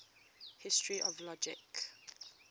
history of logic